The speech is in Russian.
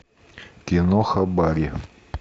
киноха барри